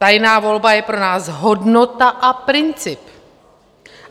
Tajná volba je pro nás hodnota a princip.